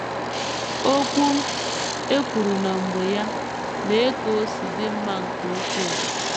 “ Okwu e kwuru na mgbe ya, lee ka o si dị mma nke ukwuu! ”